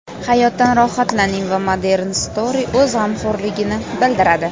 Hayotdan rohatlaning va Modern Stroy o‘z g‘amxo‘rligini bildiradi.